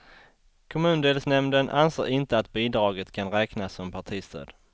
Kommundelsnämnden anser inte att bidraget kan räknas som partistöd.